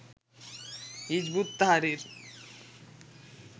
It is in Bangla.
Hizb ut Tahrir